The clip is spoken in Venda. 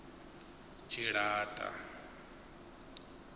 tshilata